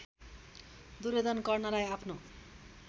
दुर्योधन कर्णलाई आफ्नो